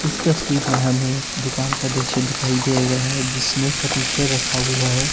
तस्वीर में हमें दुकान का दृश्य दिखाई दे रहे हैं जिसमें फर्नीचर रखा हुआ है।